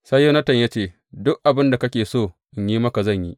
Sai Yonatan ya ce, Duk abin da kake so in yi maka zan yi.